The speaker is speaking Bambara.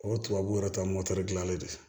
O tubabuw yɛrɛ ta ye mɔtɛridilanlen ye